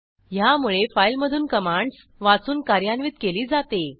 ह्यामुळे फाईलमधून कमांडस वाचून कार्यान्वित केली जाते